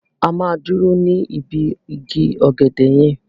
A máa dúró ní ibi igi ọ̀gẹ̀dẹ̀ yẹn.